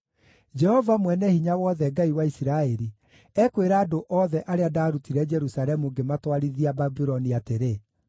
Jehova Mwene-Hinya-Wothe, Ngai wa Isiraeli, ekwĩra andũ othe arĩa ndaarutire Jerusalemu ngĩmatwarithia Babuloni atĩrĩ: